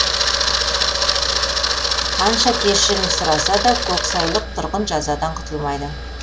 қанша кешірім сұраса да көксайлық тұрғын жазадан құтылмайды